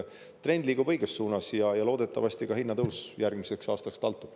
Trend liigub õiges suunas ja loodetavasti ka hinnatõus järgmiseks aastaks taltub.